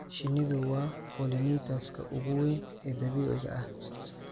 Shinnidu waa pollinators-ka ugu weyn ee dabiiciga ah